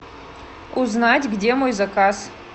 узнать где мой заказ